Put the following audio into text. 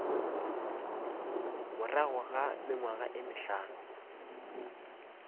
morago ga mengwaga ye mehlano